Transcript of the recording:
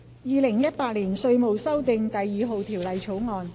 《2018年稅務條例草案》。